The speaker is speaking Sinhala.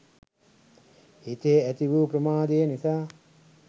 සිතේ ඇති වූ ප්‍රමාදය නිසා